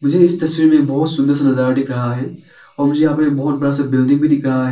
मुझे इस तस्वीर में बहोत सुंदर सा नजारा दिख रहा है और मुझे यहां पर बहोत बड़ा सा बिल्डिंग भी दिख रहा है।